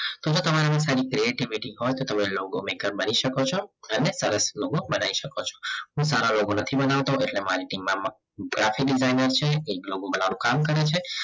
હવે તમારામાં કોઈ creativity હોય તો તમે logo maker બની શકો છો અને સરસ logo બનાવી શકો છો હું સારા logo નથી બનાવતો એટલે મારી દિમાગમાં graphic designer છે logo બનાવવાનું કામ કરે છે